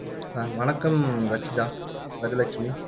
அஹ் வணக்கம் ரச்சிதா, கஜலட்சுமி